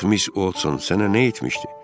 Yazıq Miss Olsson sənə nə etmişdi?